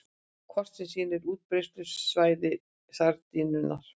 Kort sem sýnir útbreiðslusvæði sardínunnar.